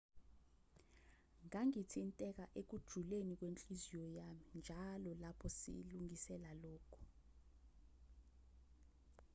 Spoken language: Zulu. ngangithinteka ekujuleni kwenhliziyo yami njalo lapho silungiselela lokhu